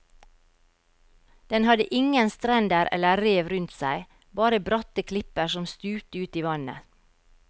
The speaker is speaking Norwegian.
Den hadde ingen strender eller rev rundt seg, bare bratte klipper som stupte ut i vannet.